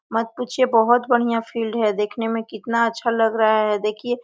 मत पूछिए बहुत बढ़िया फील्ड है देखने में कितना अच्छा लग रहा है।